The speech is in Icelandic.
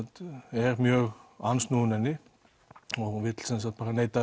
er mjög andsnúinn henni og vill neita